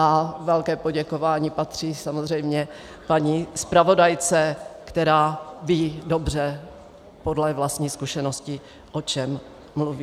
A velké poděkování patří samozřejmě paní zpravodajce, která ví dobře podle vlastních zkušeností, o čem mluví.